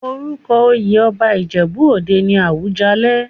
Orúko oyè ọba Ìjẹ̀bú òde ni Àwùjalẹ̀.